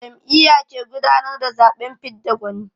Jam'iyya ke gudanar da zaɓen fidda gwani.